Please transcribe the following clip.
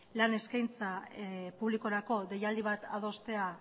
lan eskaintza publikorako deialdi bat adostea